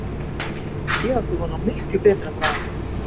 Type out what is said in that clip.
Ég átti von á miklu betra frá honum.